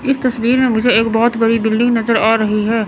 इस तस्वीर मे मुझे एक बहोत बड़ी बिल्डिंग नजर आ रही है।